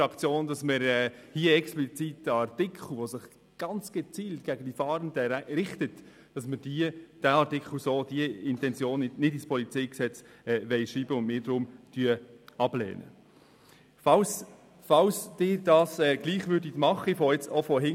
Dass sich dieser Artikel ganz gezielt gegen die Fahrenden richtet, ist für die SP-JUSOPSA-Fraktion der Grund, den Artikel abzulehnen und ihn nicht ins PolG schreiben zu wollen.